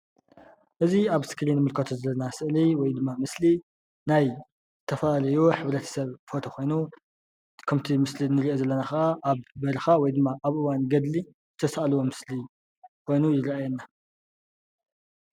እዚ ኣብ እስክሪን እንሪኦ ዘለና ምስሊ ናይ ዝተፈላለዩ ሕብረተሰብ ፎቶ ኮይኑ ኸሞታ እንሪኦ ዘለና ኸዓ ኣብ በረኻ ወይ ኸዓ ኣብ እዋን ገድሊ ኾዮኑ ይርአየና።